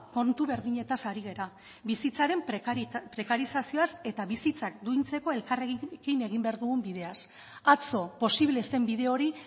kontu berdinetaz ari gara bizitzaren prekarizazioaz eta bizitzak duintzeko elkarrekin egin behar dugun bideaz atzo posible zen bide hori